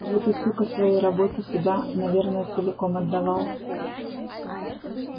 вот и сука своей работе себя наверное целиком отдавал